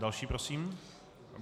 Další prosím.